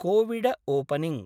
Covid opening